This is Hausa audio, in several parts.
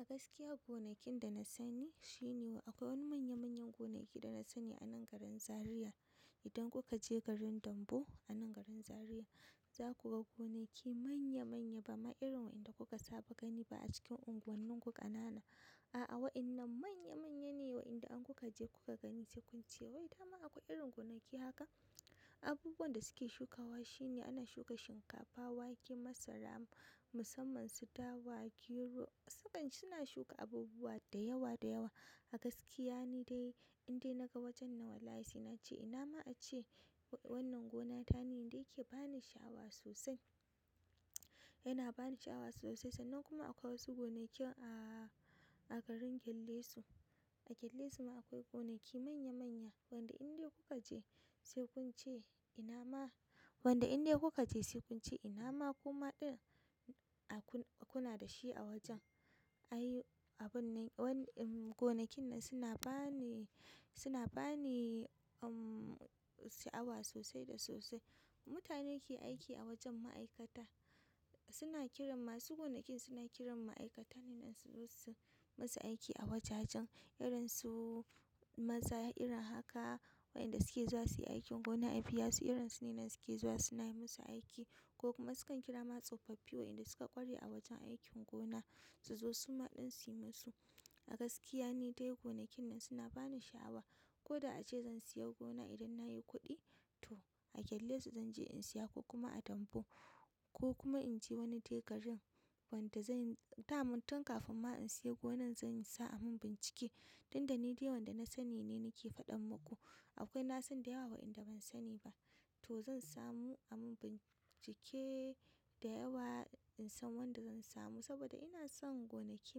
A gaskiya gonakin da na sani shi ne wa akwai wani manya-manyan gonaki da na sani a nan garin Zariya. Idan kuka je garin Dambu a nan garin Zariya za ku ga gonaki manya-manya ba ma irin wanda kuka saba gani ba a cikin unguwannin ku ƙanana. A'a waƴannan manya-manye ne wayanda an kuka je kuka gani sai kunce wai dama akwai irin gonaki haka. Abubuwan da suke shukawa shi ne ana shuka shinkafa, wake, masara musamman su dawa, gero. Sakan suna shuka abubuwa da yawa da yawa. A gaskiya ne dai indai naga wajen na wallahi na ce ina ma ace wannan gona ta ne da yake bani sha'awa sosai. Yana bani sha'awa sosai sannan kuma akwai wasu gonakin a, a garin gellesu. A galle suma akwai gonaki manya manya wanda indai kuka je sai kunce inama wanda indai kukaje sai kunce inama kuma ɗin a kuna dashi wajen ai abun ne wani gonakin nan suna bani, suna bani umm sha'awa sosai da sosai. Mutane ke aiki a wajen ma'aikata. Suna kiran masu gonakin suna kiran ma'aikata ne nan su zosu, masu aiki a wajajen. Irin su maza irin haka wayanda suke zuwa suyi aikin gona, abiyasu irin su ne nan suke zuwa suna yi musu aiki ko kuma sukan kankira masu tsofaffi waɗanda suka ƙware a wajen aikin gona su zo su ma ɗin suyi musu. A gaskiya ne dai gonakin nan suna bani sha'awa. Ko da ace zan siya gona idan nayi kuɗi to a Kellisu zan je in siya ko kuma a Dambu ko kuma in je wani tekarin wanda zanyi damuntun kafin ma in siya gonan zan sa a mun bincike. Inda ni dai wanda na sani ne nake faɗan muku. Akwai na san da yawa wayanda ban sani ba. To zan samu a mun bincike da yawa in san wanda zan samu saboda ina son gonaki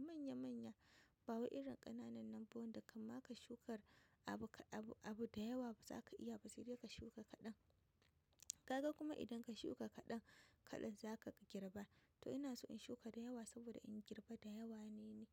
manya-manya ba wai irin ƙananan nan ba wanda kan ma ka shukar abu ka abu, abu da yawa ba za ka iya ba sai dai ka shuka kaɗan. Kaga kuma idan ka shuka kaɗan, kaɗan za ka girba. To ina so in shuka da yawa saboda in girba da yawa ne ni.